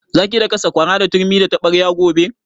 Za ki daka sakwara da turmi da taɓarya gobe?